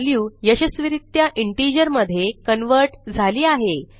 value यशस्वीरित्या integer मधे convert झाली आहे